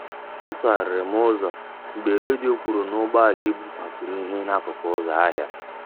A tụgharịrị m ụzọ mgbe redio kwuru na ụgbọala ibu kwafuru ihe n'akụkụ ụzọ ahịa